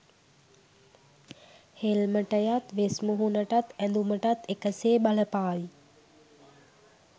හෙල්මටයත් වෙස්මුහුණටත් ඇදුමටත් එක සේ බලපාවි.